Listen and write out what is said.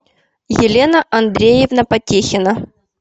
елена андреевна потехина